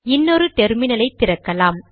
இன்னொரு டெர்மினலை திறக்கலாம்